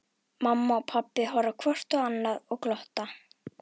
Mamma og pabbi horfa hvort á annað og glotta.